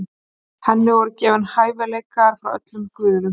henni voru gefnir hæfileikar frá öllum guðunum